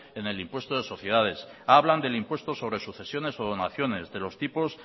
en el impuesto de las sociedades hablan del impuesto de sucesiones o donaciones de los tipos